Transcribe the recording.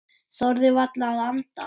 Þorðu varla að anda.